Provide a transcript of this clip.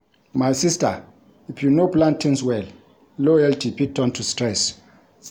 My sista, if you no plan tins well, loyalty fit turn to stress.